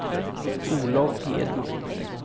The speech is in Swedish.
Olov Edman